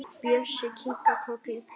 Bjössi kinkar kolli.